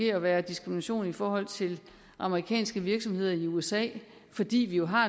at være diskrimination i forhold til amerikanske virksomheder i usa fordi vi jo har